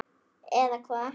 Eða hvað.